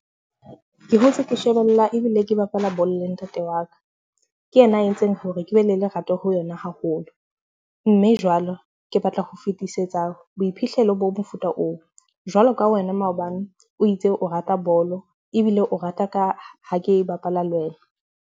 Ke hotse ke shebella ebile ke bapala bolo le ntate wa ka. Ke yena a entseng hore ke be le lerato ho yona haholo. Mme jwalo, ke batla ho fetisetsa boiphihlelo ba mofuta oo. Jwalo ka wena maobane o itse o rata bolo ebile o rata ka ha ke bapala le wena.